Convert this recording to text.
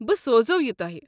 بہٕ سوزَو یہِ تۄہہ۔